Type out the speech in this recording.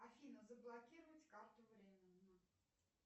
афина заблокировать карту временно